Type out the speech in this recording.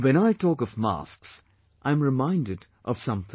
And when I talk of masks, I am reminded of something